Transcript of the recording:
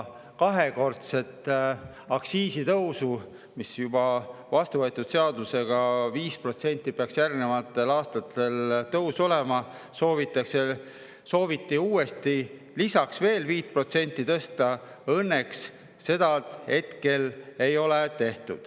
Kahekordset aktsiisitõusu – juba vastuvõetud seadusega peaks järgnevatel aastatel 5% tõusma ja sooviti lisaks 5% tõsta – õnneks hetkel ei ole tehtud.